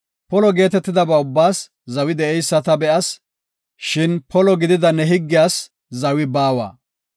Polo geetetidaba ubbaas zawi de7eysa ta be7as; shin polo gidida higgiyas zawi baawa.